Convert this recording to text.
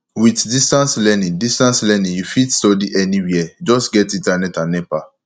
with distance learning distance learning you fit study anywhere just get internet and nepa